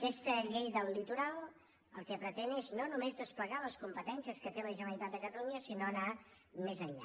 aquesta llei del litoral el que pretén és no només desplegar les competències que té la generalitat de catalunya sinó anar més enllà